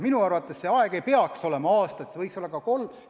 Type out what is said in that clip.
Minu arvates see aeg ei peaks olema aasta, et see võiks olla kolm aastat.